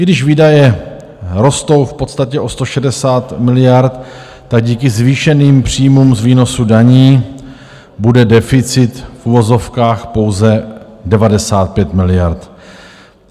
I když výdaje rostou v podstatě o 160 miliard, tak díky zvýšeným příjmům z výnosů daní bude deficit - v uvozovkách pouze - 95 miliard.